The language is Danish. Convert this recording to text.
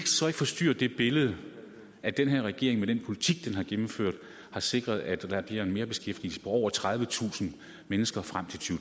så ikke forstyrre det billede at den her regering med den politik den har gennemført har sikret at der bliver en merbeskæftigelse på over tredivetusind mennesker frem